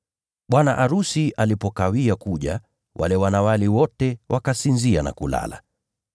Bwana arusi alipokawia kuja wale wanawali wote wakasinzia na kulala.